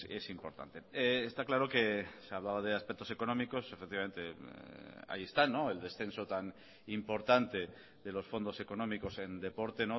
es importante está claro que se hablaba de aspectos económicos efectivamente ahí están el descenso tan importante de los fondos económicos en deporte